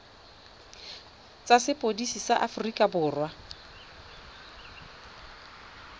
tsa sepodisi sa aforika borwa